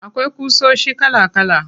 Akwai ƙusoshi kala kala.